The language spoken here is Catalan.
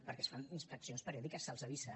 perquè es fan inspeccions periòdiques se’ls avisa